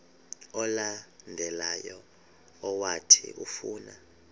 olandelayo owathi ufuna